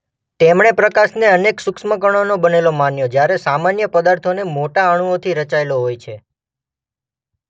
તેમણે પ્રકાશને અનેક સૂક્ષ્મ કણોનો બનેલો માન્યો જ્યારે સામાન્ય પદાર્થોને મોટા અણુઓથી રચાયેલો હોય છે.